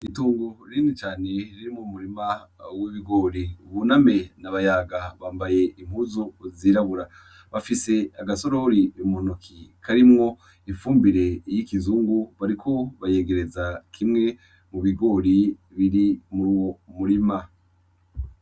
Itungo rini cane riri mu murima w'ibigori Buname na Bayaga bambaye impuzu uzirabura bafise agasorori bimunoki karimwo ifumbire iy' ikizungu bariko bayegereza kimwe mu bigori biri muri uwo murima.